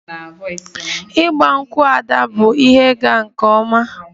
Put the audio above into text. Igba nkwu' Ada bụ ihe ịga nke ọma